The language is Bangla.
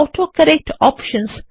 autocorrect options